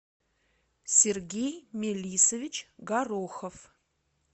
сергей мелисович горохов